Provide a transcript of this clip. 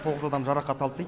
тоғыз адам жарақат алды дейді